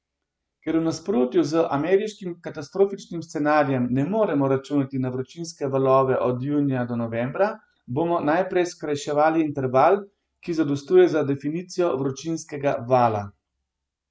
Ker v nasprotju z ameriškim katastrofičnim scenarijem ne moremo računati na vročinske valove od junija do novembra, bomo najprej skrajšali interval, ki zadostuje za definicijo vročinskega vala.